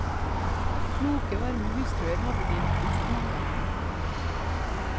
Kloke, varme hustruer hadde de, nesten alle.